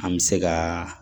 An bɛ se ka